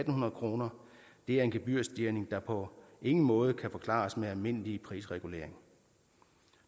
hundrede kroner det er en gebyrstigning der på ingen måde kan forklares med almindelig prisregulering